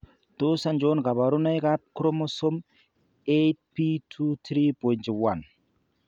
Tos achon kabarunaik ab Chromosome 8p23.1 ?